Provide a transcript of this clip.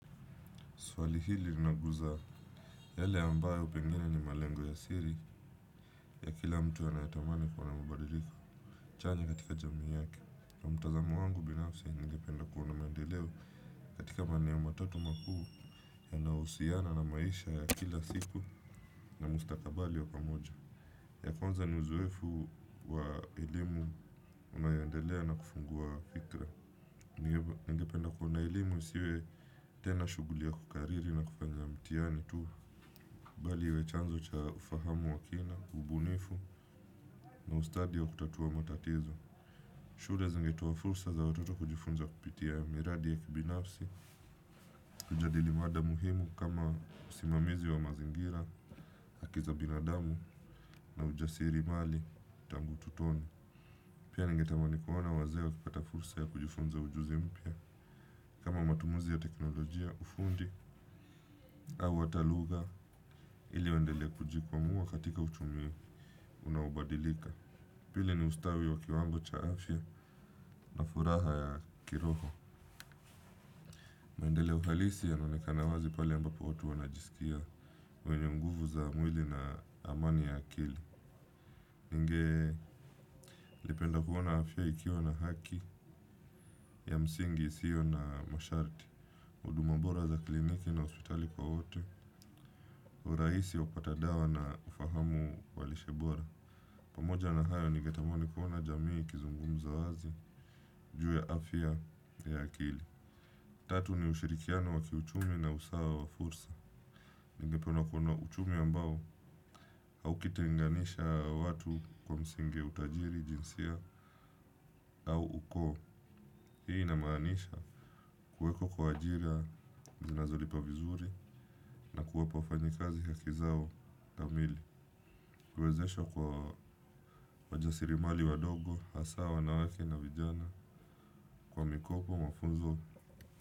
Swali hili linaguza yale ambayo pengine ni malengo ya siri ya kila mtu anayetamani kuwa na mabadiliko. Chanya katika jamii yake. Kwa mtazamo wangu binafsi ningependa kuona maendeleo katika maeneo matatu makuu yanahusiana na maisha ya kila siku na mustakabali wa pamoja. Ya kwanza ni uzoefu wa elimu unayoendelea na kufungua fikra. Ningependa kuona elimu isiwe tena shuguli ya kukariri na kufanya ya mtihani tu. Bali iwe chanzo cha ufahamu wa kina, ubunifu na ustadi wa kutatua matatizo. Shule zingetoa fursa za watoto kujifunza kupitia miradi ya kibinafsi kujadili mada muhimu kama usimamizi wa mazingira, haki za binadamu na ujasirimali tangu utotoni. Pia ningetamani kuona wazee wakipata fursa ya kujifunza ujuzi mpya. Kama matumuzi ya teknolojia ufundi au hata lugha ili uwendele kujikwamuwa katika uchumi unaobadilika. Pili ni ustawi wa kiwango cha afya na furaha ya kiroho. Mendeleo halisi yanaonekana wazi pale ambapo watu wanajisikia. Wenye nguvu za mwili na amani ya akili. Ningelipenda kuona afya ikiwa na haki ya msingi isio na masharti. Huduma bora za kliniki na hospitali kwa wote. Urahisi wa kupata dawa na ufahamu wa lishe bora. Pamoja na hayo ningetamani kuona jamii kizungumza wazi. Juu ya afya ya akili. Tatu ni ushirikiano wa kiuchumi na usawa wa fursa. Ningependa kuona uchumi ambao au kiti kulinganisha watu kwa msingi ya utajiri, jinsia au uko. Hii inamaanisha kuweko kwa ajira zinazolipa vizuri na kuwapa wafanyikazi haki zao kamili. Kuwezeshwa kwa wajasirimali wadogo, hasa wanawake na vijana kwa mikopo mafunzo.